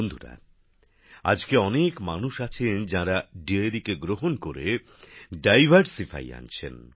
বন্ধুরা আজকে অনেক মানুষ আছেন যাঁরা দোহ ডেয়ারিকে গ্রহণ করে নানা ধরণের বৈচিত্র্য আনছেন